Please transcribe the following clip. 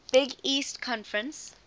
big east conference